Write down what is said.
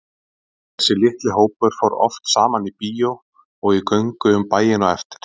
Þessi litli hópur fór oft saman í bíó og í göngu um bæinn á eftir.